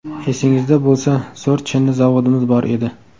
Esingizda bo‘lsa, zo‘r chinni zavodimiz bor edi.